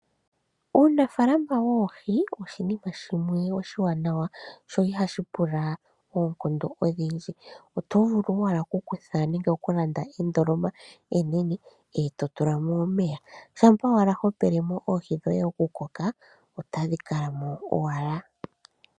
Uunafaalama woohi oshinima shimwe oshiwanawa sho ihashi pula oonkondo odhindji. Oto vulu owala okukutha nenge okulanda endoloma enene eto tula mo omeya shampa owala ho pele mo oohi dhoye iikulya otadhi kala mo owala.